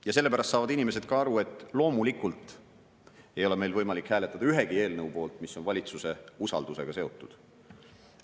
Ja selle pärast saavad inimesed ka aru, et loomulikult ei ole meil võimalik hääletada ühegi eelnõu poolt, mis on valitsuse usaldusega seotud.